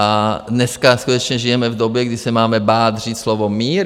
A dneska skutečně žijeme v době, kdy se máme bát říct slovo mír?